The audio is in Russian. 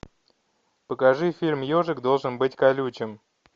покажи фильм ежик должен быть колючим